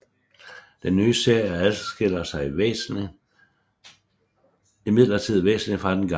Den nye serie adskiller sig imidlertid væsenligt fra den gamle